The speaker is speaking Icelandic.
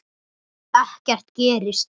Ekkert gerist.